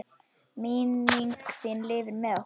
Minning þín lifir með okkur.